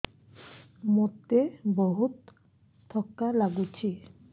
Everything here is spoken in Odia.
ମୋତେ ବହୁତ୍ ଥକା ଲାଗୁଛି